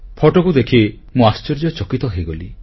ଫଟୋକୁ ଦେଖି ମୁଁ ଆଶ୍ଚର୍ଯ୍ୟଚକିତ ହୋଇଗଲି